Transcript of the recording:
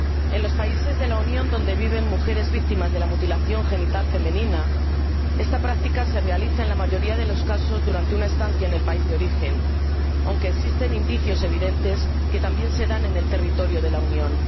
En los países de la Unión donde viven mujeres víctimas de la mutilación genital femenina, esta práctica se realiza en la mayoría de los casos durante una estancia en el país de origen, aunque existen indicios evidentes de que también se dan en el territorio de la Unión.